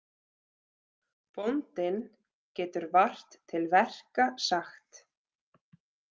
Bóndinn getur vart til verka sagt.